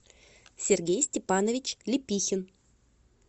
сергей степанович лепихин